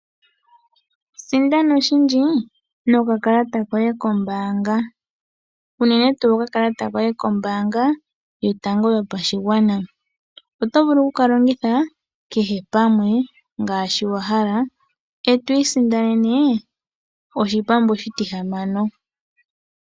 Sindana oshindji no kakalata koye kombaanga, unene tuu okakalata koye kombaanga yotango yopashigwana. Oto vulu oku kalongitha kehe pamwe, ngaashi wahala, eto isindanene oshipambu oshitihamano.